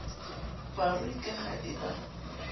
barui ka ha e ba